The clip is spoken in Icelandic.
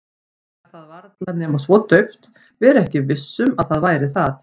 Heyra það varla nema svo dauft, vera ekki viss um að það væri það.